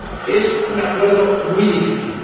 Es un acuerdo muy difícil.